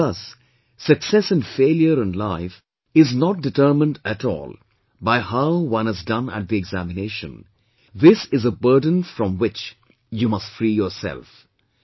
And thus success and failure in life is not determined at all by how one has done at the examination; this is a burden from which you must free yourself